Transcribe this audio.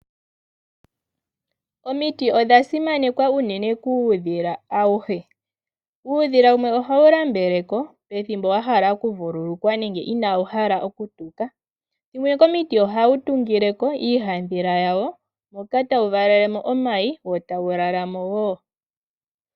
Omiti odha simanekwa unene kuudhila awuhe. Uudhila wumwe ohawu nambeleko pethimbo wa hala oku vululukwa nenge inawu hala oku tuka, wumwe komiti ohawu tunguleko iihadhila wa wo moka tawu valelemo omayi wo tawu lalamo.